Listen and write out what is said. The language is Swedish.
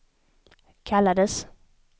kallades